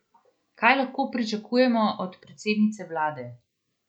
Kaj lahko pričakujemo od predsednice vlade?